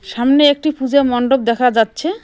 সামনে একটি পুজা মণ্ডপ দেখা যাচ্ছে।